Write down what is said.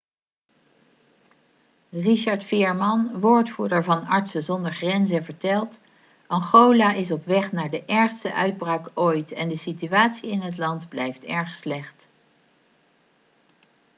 richard veerman woordvoerder van artsen zonder grenzen vertelt: 'angola is op weg naar de ergste uitbraak ooit en de situatie in het land blijft erg slecht.'